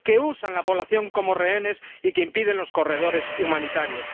que usan la población como rehenes y que impiden los corredores humanitarios.